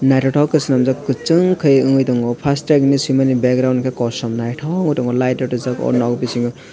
naithotok kje swnamjak kwchwng khaiui wngwi tongo fastrack hinui swimani background khe kosom naithok ungwi tongo lightrok rijak oh bisingo.